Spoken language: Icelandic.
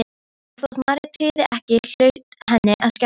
Og þótt María tryði ekki hlaut henni að skjátlast.